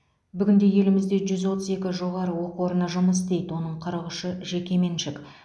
бүгінде елімізде жүз отыз екі жоғары оқу орны жұмыс істейді оның қырық үші жекеменшік